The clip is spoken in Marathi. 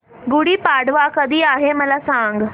गुढी पाडवा कधी आहे मला सांग